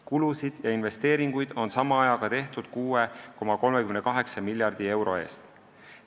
Kulusid ja investeeringuid on sama ajaga tehtud 6,38 miljardi euro eest.